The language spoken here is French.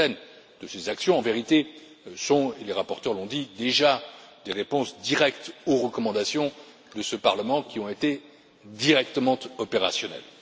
Certaines de ces actions, en vérité, constituent les rapporteurs l'ont dit déjà des réponses directes aux recommandations de ce Parlement, qui ont été directement opérationnelles.